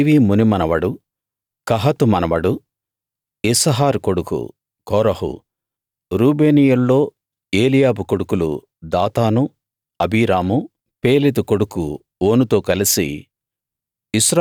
లేవీ మునిమనవడు కహాతు మనవడు ఇస్హారు కొడుకు కోరహు రూబేనీయుల్లో ఏలీయాబు కొడుకులు దాతాను అబీరాము పేలెతు కొడుకు ఓనుతో కలిసి